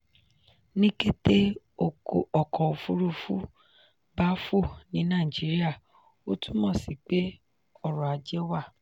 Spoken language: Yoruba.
ní kété ọkọ̀ òfúrufú bá fò ní nàìjíría ó túmọ̀ sí pé ọrọ̀-ajé wà.